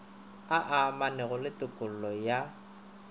a amanago le tokollo ya